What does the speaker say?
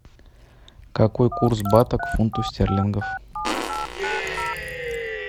какой курс бата к фунту стерлингов